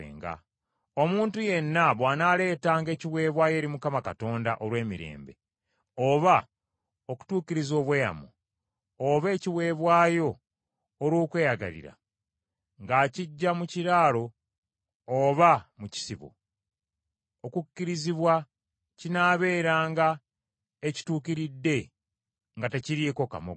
Omuntu yenna bw’anaaleetanga ekiweebwayo eri Mukama Katonda olw’emirembe, oba okutuukiriza obweyamo, oba ekiweebwayo olw’okweyagalira, ng’akiggya mu kiraalo oba mu kisibo, okukkirizibwa kinaabeeranga ekituukiridde nga tekiriiko kamogo.